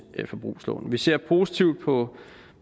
forbrugslån vi ser positivt på